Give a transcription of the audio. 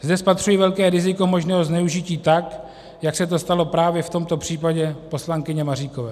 Zde spatřuji velké riziko možného zneužití, tak jak se to stalo právě v tomto případě poslankyně Maříkové.